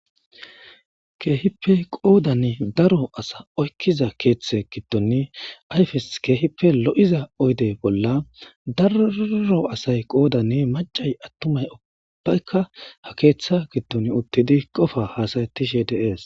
keehippe qoodann daro asa oykkiza keeththe giddoni ayfes keehippe lo7iza oyde bolla daro asay qoodani macay attumay ubbbaykka ha keeththa giddon uttidi qofa haasayetishe dees